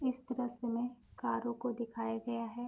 इस दृश्य में कारों को दिखाया गया है।